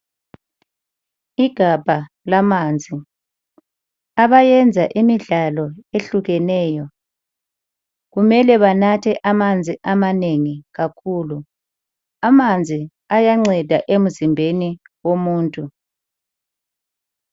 Igabha lamanzi, abayenza imidlalo ehlukeneyo kumele banathe amanzi amanengi kakhulu. Amanzi ayanceda emzimbeni womuntu.